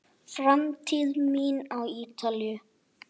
Framtíð mín á Ítalíu?